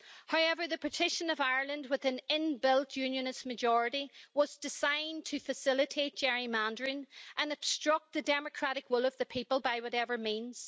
However, the partition of Ireland with an in-built unionist majority was designed to facilitate gerrymandering and obstruct the democratic will of the people by whatever means.